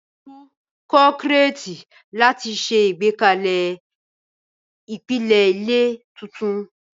Tú kọ́kọ́rẹ́ẹ̀tì láti ṣe àgbékalẹ̀ ìpìlẹ̀ ilé tuntun.